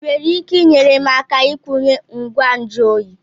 Ị nwere ike inyere m aka ikwunye ngwa nju oyi?